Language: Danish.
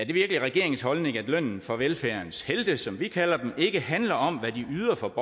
det virkelig regeringens holdning at lønnen for velfærdens helte som vi kalder dem ikke handler om hvad de yder for